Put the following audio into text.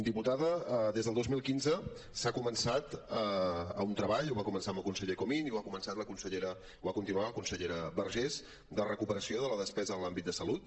diputada des del dos mil quinze s’ha començat un treball va començar amb el conseller comín i ho ha continuat la consellera vergés de recuperació de la despesa en l’àmbit de salut